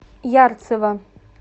ярцево